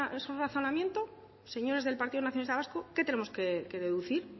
su razonamiento señores del partido nacionalista vasco qué tenemos que deducir